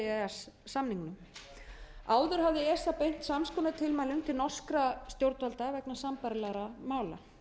s samningnum áður hafði esa beint sams konar tilmælum til norskra stjórnvalda vegna sambærilegra mála